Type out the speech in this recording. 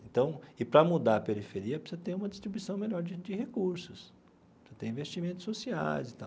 Então, e para mudar a periferia, precisa ter uma distribuição melhor de de recursos, então tem investimentos sociais e tal.